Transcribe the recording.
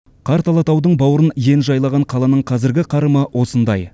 қарт алатаудың бауырын ен жайлаған қаланың қазіргі қарымы осындай